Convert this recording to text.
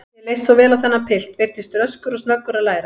Mér leist svo vel á þennan pilt, virtist röskur og snöggur að læra.